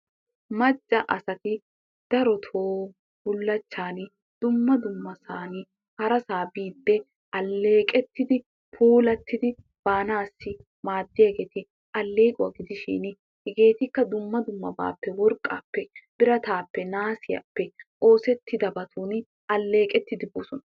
Macca asati darotoo bullachchaani dumma dummasaani harasaa biide aleeqettidi puulattidi baanaasi maaddiyageetti aleequwa gidishin hegeetikka dumma dummabaappe worqqaappe, birataappe, naasiyaappe oosettidabatun aleeqettidi bosona.